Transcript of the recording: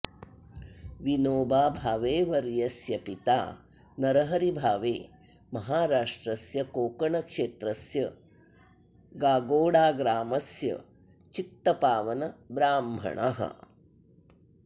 विनोबा भावे वर्यस्य पिता नरहरि भावे महाराष्ट्रस्य कोङ्कणक्षेत्रस्य गागोडाग्रामस्य चित्तपावनब्राह्मणः